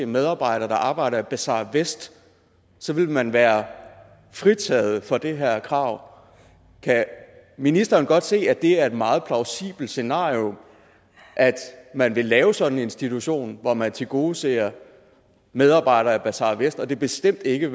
medarbejdere der arbejder i bazar vest så vil man være fritaget for det her krav kan ministeren godt se at det er et meget plausibelt scenario at man vil lave sådan en institution hvor man tilgodeser medarbejdere i bazar vest og at det bestemt ikke